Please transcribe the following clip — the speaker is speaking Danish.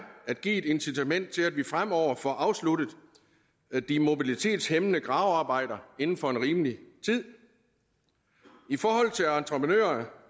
at give et incitament til at vi fremover får afsluttet de mobilitetshæmmende gravearbejder inden for en rimelig tid i forhold til entreprenører